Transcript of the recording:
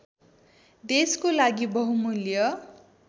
देशको लागि बहुमूल्य